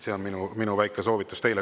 See on minu väike soovitus teile.